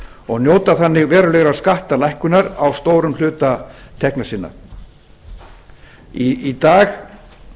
og njóta þannig verulegrar skattalækkunar á stórum hluta tekna sinna í dag